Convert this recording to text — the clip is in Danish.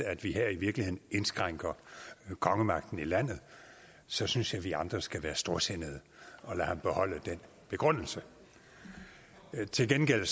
at vi her i virkeligheden indskrænker kongemagten i landet så synes jeg vi andre skal være storsindede og lade ham beholde den begrundelse til gengæld